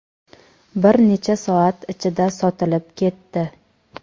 bir necha soat ichida sotilib ketdi.